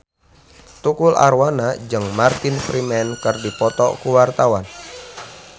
Tukul Arwana jeung Martin Freeman keur dipoto ku wartawan